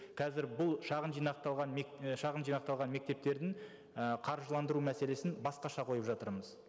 қазір бұл шағын жинақталған шағын жинақталған мектептердің і қаржыландыру мәселесін басқаша қойып жатырмыз